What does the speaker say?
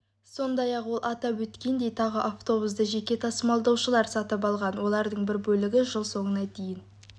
сондай-ақ ол атап өткендей тағы автобусты жеке тасымалдаушылар сатып алған олардың бір бөлігі жыл соңына дейін